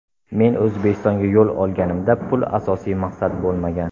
Men O‘zbekistonga yo‘l olganimda, pul asosiy maqsad bo‘lmagan.